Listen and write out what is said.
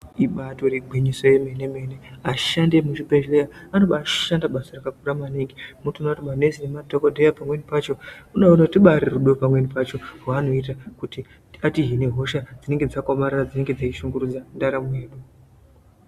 Ibatori gwinyiso remene mene vashandi vemuzvibhedhlera vanobaashanda basa rakakura maningi motoona kuti manesi nemadhokoteya pamweni pacho rubarirudo pamweni pacho rwanoita kuti atihine hosha dzinenge dzakaomarara dzinenge dzeishungurudza ndaramo yedu.